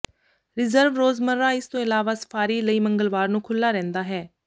reserve ਰੋਜ਼ਮਰਾ ਇਸ ਤੋਂ ਇਲਾਵਾ ਸਫਾਰੀ ਲਈ ਮੰਗਲਵਾਰ ਨੂੰ ਖੁੱਲ੍ਹਾ ਰਹਿੰਦਾ ਹੈ